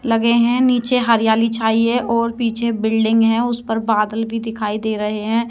लगे हैं। नीचे हरियाली छाई है और पीछे बिल्डिंग है। उस पर बादल भी दिखाई दे रहे हैं।